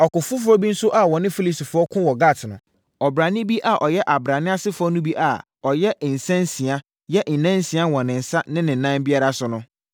Ɔko foforɔ bi nso a wɔne Filistifoɔ koo wɔ Gat no, ɔbrane bi a ɔyɛ abrane asefoɔ no bi a ɔyɛ nsansia yɛ nansia wɔ ne nsa ne ne nan biara so no